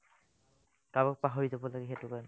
কাৰোবাক পাহৰি যাব লাগে সেটো কাৰণে